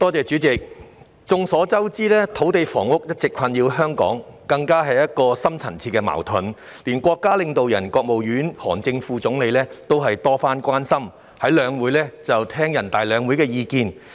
主席，眾所周知，土地及房屋問題一直困擾香港，更是深層次矛盾，連國家領導人之一的國務院副總理韓正亦曾就此多番表達關注，並在全國兩會期間聆聽意見。